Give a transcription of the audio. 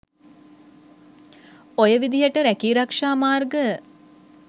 ඔය විදියට රැකී රක්ෂා මාර්ග